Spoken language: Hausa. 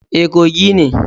E, Kogi ne.